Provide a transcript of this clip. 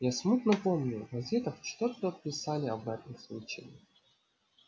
я смутно помню в газетах что-то писали об этом случае